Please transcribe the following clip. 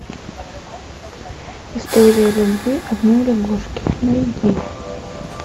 история любви одной лягушки найди